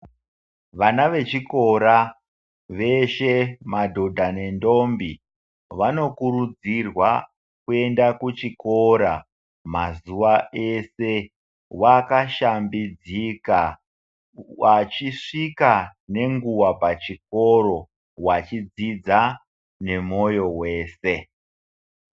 Vana vechikora veshe madhodha nedhombi vanokurudzirwa kuenda kuchikora mazuwa eshe vakashambidzika vachisvika nenguwa pachikoro vachidzidza nemoyo wese.